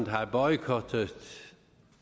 har boykottet